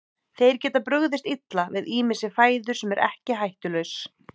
Þeir geta brugðist illa við ýmissi fæðu sem er okkur hættulaus.